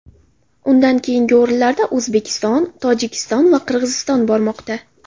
Undan keyingi o‘rinlarda O‘zbekiston, Tojikiston va Qirg‘iziston bormoqda.